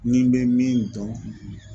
Ni me min dɔn